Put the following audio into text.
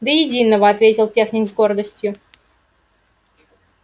до единого ответил техник с гордостью